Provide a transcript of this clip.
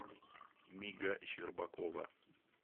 мига щербакова